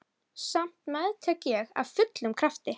Ætli það sé ekki best að ég hætti þessu bara.